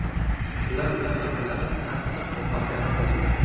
Shular bilan masalani qattiq muhokama qildik.